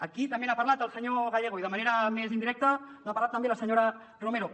aquí també n’ha parlat el senyor gallego i de manera més indirecta n’ha parlat també la senyora romero